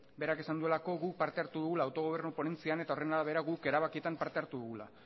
berak esan duelako guk parte hartu dugula autogobernu ponentzian eta horren arabera guk erabakietan parte hartu dugula